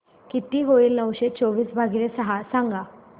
किती होईल नऊशे चोवीस भागीले सहा सांगा